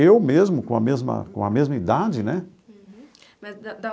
Eu mesmo, com a mesma com a mesma idade, né?